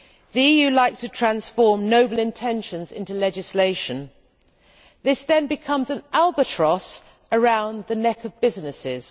The EU likes to transform noble intentions into legislation, which then becomes an albatross around the neck of businesses.